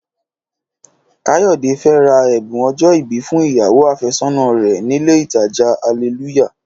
Káyọ̀dé fẹ́ ra ẹ̀bùn ọjọ́-ìbí fún ìyàwó àfẹ́sọ́nà rẹ̀ nílé ìtajà Alelúyà